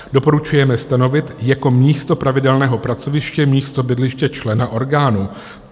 Doporučujeme stanovit jako místo pravidelného pracoviště místo bydliště člena orgánu.